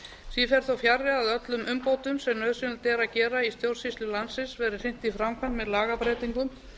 því fer þó fjarri að öllum umbótum sem nauðsynlegt er að gera í stjórnsýslu landsins verði hrint í framkvæmd með lagabreytingum